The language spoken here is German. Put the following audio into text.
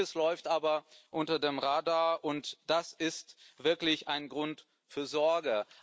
Vieles läuft aber unter dem Radar, und das ist wirklich ein Grund zur Sorge.